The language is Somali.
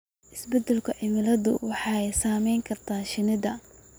Isbeddelka cimiladu waxay saameyn kartaa shinnida.